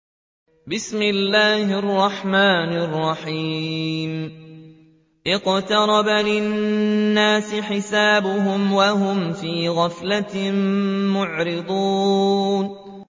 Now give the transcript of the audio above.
اقْتَرَبَ لِلنَّاسِ حِسَابُهُمْ وَهُمْ فِي غَفْلَةٍ مُّعْرِضُونَ